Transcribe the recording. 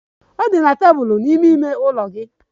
Ọ dị na tebụl n'ime ime ụlọ gị.